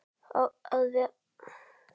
Á að vera sammála henni.